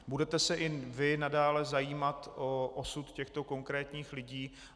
Budete se i vy nadále zajímat o osud těchto konkrétních lidí?